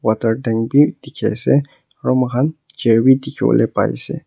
water tank bi dikhi ase aro moi khan chair bi dikhiwole pai ase.